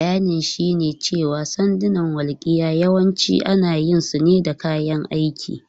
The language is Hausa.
Bayanin shine cewa sandunan walƙiya yawanci ana yin su ne da kayan aiki.